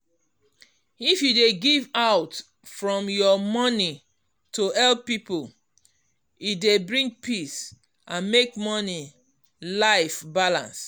if you dey give out from your money to help people e dey bring peace and make money life balance.